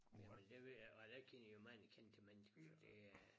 Jamen det ved jeg ikke jeg kender jo mange kendte mennesker for det er